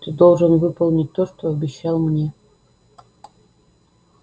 ты должен выполнить то что обещал мне